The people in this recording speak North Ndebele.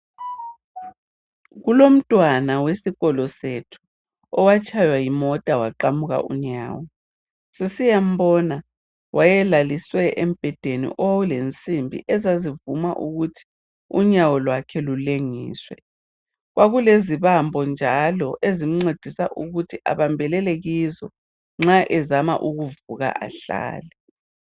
Kulomntwana wesikolo sethu owatshaywa yimota waqamuka unyawo. Sisiyambona wayelaliswe embedeni owawulensimbi ezazivuma ukuthi unyawo lwakhe lulengiswe. Kwakulezibambo njalo ezimncedisa ukuthi abambelele kizo nxa ezama ukuvuka ahlale.